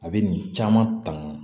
A bɛ nin caman ta